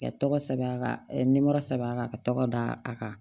Ka tɔgɔ sɛbɛn a ka a kan ka tɔgɔ d' a kan